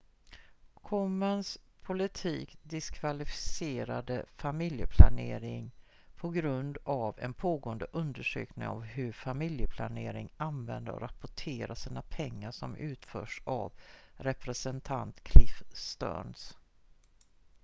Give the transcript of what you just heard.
komens politik diskvalificerade familjeplanering på grund av en pågående undersökning av hur familjeplanering använder och rapporterar sina pengar som utförs av representant cliff stearns